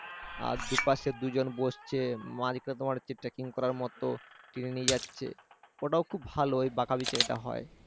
আর দুপাশে দুজন বসছে মাঝখানে তোমার করার মত টেনে নিয়ে যাচ্ছে ওটাও খুব ভালো ওই ওটা হয় আর